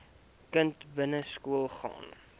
kind begin skoolgaan